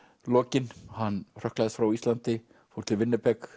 lokin hann hrökklaðist frá Íslandi fór til